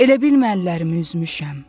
Elə bilmə əllərimi üzmüşəm.